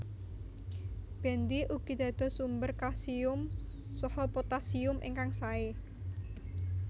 Bendi ugi dados sumber kalsium saha potassium ingkang sae